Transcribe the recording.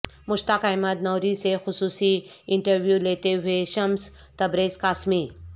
مشتاق احمد نوری سے خصوصی انٹرویولیتے ہوئے شمس تبریزقاسمی